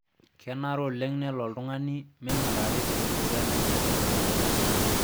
Kenaro oleng nelo oltung'ani meingurari te sipitali nkatitin pookin.